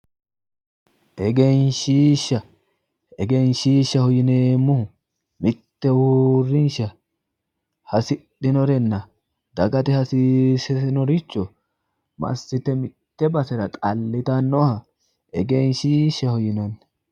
Egenshshiishsha, egenshshiishshaho yineemmohu mitte uurrinshsha hasidhinorenna dagate hasiisinoricho massite mitte basera xallitannoha egenshshiishshaho yinanni.